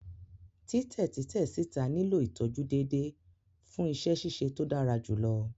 Titẹ titẹ sita nilo itọju deede fun iṣẹ ṣiṣe to dara julọ.